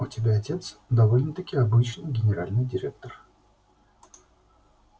у тебя отец довольно-таки обычный генеральный директор